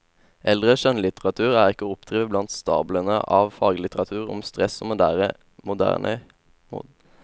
Eldre skjønnlitteratur er ikke å oppdrive blant stablene av faglitteratur om stress og moderne hyldningsdikt til teknologien.